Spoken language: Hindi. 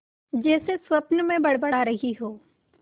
जैसे स्वप्न में बड़बड़ा रही हो